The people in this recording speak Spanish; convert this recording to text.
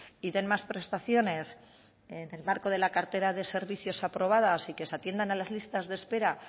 y den más prestaciones en el marco de la cartera de servicios aprobada y que se atiendan a las listas que espera